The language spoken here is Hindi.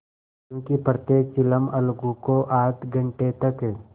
क्योंकि प्रत्येक चिलम अलगू को आध घंटे तक